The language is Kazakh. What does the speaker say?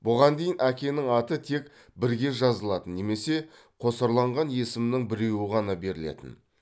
бұған дейін әкенің аты тек бірге жазылатын немесе қосарланған есімнің біреуі ғана берілетін